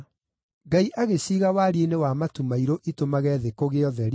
Ngai agĩciiga wariĩ-inĩ wa matu mairũ itũmage thĩ kũgĩe ũtheri,